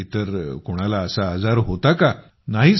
किंवा इतर कोणाला असा आजार होता का